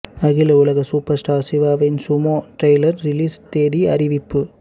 அகில உலக super star சிவாவின் சுமோ டிரையிலர் ரிலீஸ் திகதி அறிவிப்பு